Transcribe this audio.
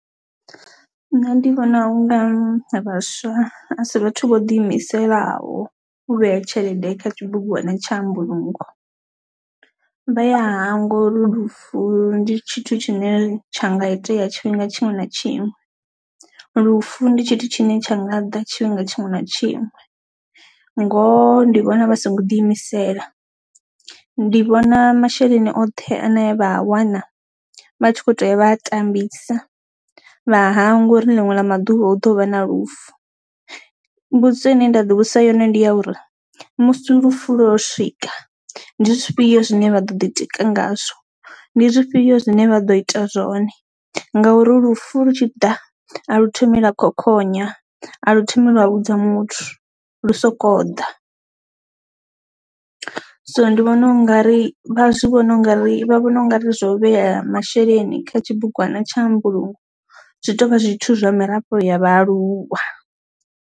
Nṋe ndi vhona unga vhaswa asi vhathu vho ḓi imiselaho u vhea tshelede kha tshibugwana tsha mbulungo, vha ya hangwa uri lufu ndi tshithu tshine tsha nga itea tshifhinga tshiṅwe na tshiṅwe, lufu ndi tshithu tshine tsha nga ḓa tshifhinga tshiṅwe na tshiṅwe ngoho ndi vhona vha so ngo ḓi imisela. Ndi vhona masheleni oṱhe ane vha a wana vha tshi kho to uya vha a tambisa vha hangwa uri ḽiṅwe ḽa maḓuvha hu ḓo vha na lufu, mbudziso ine nda ḓi vhudzisa yone ndi ya uri musi lufu lwo swika ndi zwifhio zwine vha ḓo ḓi tika ngazwo ndi zwifhio zwine vha ḓo ḓi tika ngazwo, ndi zwifhio zwine vha ḓo ita zwone ngauri lufu lu tshi ḓa a lu thomi lwa khokhonya a lu thomi lwa vhudza muthu, lu soko ḓa so ndi vhona u nga ri vha zwi vhona u nga ri vha vhona u ngari vha zwo vhea masheleni kha tshibugwana tsha mbulungo zwi tovha zwithu zwa mirafho ya vhaaluwa.